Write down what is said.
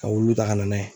Ka olu ta ka na n'a ye